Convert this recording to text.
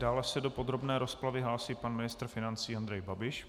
Dále se do podrobné rozpravy hlásí pan ministr financí Andrej Babiš.